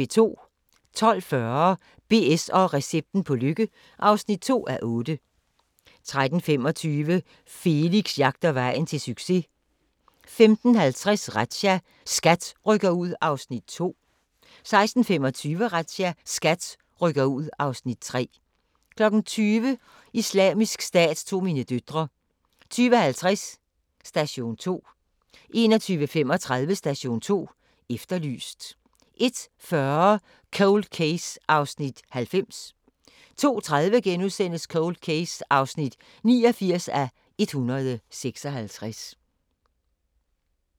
12:40: BS & recepten på lykke (2:8) 13:25: Felix jagter vejen til succes 15:50: Razzia – SKAT rykker ud (Afs. 2) 16:25: Razzia – SKAT rykker ud (Afs. 3) 20:00: Islamisk Stat tog mine døtre 20:50: Station 2 21:35: Station 2 Efterlyst 01:40: Cold Case (90:156) 02:30: Cold Case (89:156)*